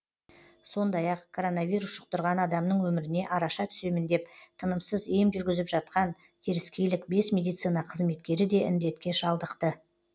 сондай ақ коронавирус жұқтырған адамның өміріне араша түсемін деп тынымсыз ем жүргізіп жатқан теріскейлік бес медицина қызметкері де індетке шалдықты